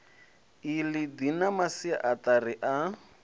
iḽi ḓi na masiaṱari a